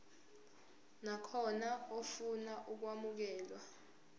nakhona ofuna ukwamukelwa